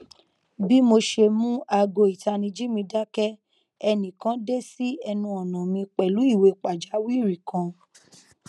bi mo ṣe mu aago itaniji mi dakẹ ẹnikan de si ẹnu ọna mi pẹlu iwe pajawiri kan